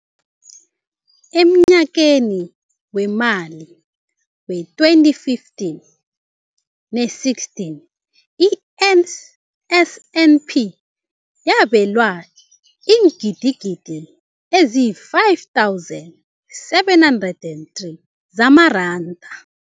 Emnyakeni weemali we-2015 ne-16, i-NSNP yabelwa iingidigidi ezi-5 703 zamaranda.